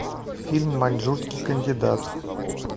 фильм маньчжурский кандидат